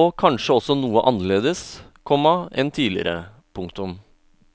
og kanskje også noe annerledes, komma enn tidligere. punktum